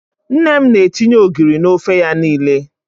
Nne m na-etinye ogiri n'ofe ya niile.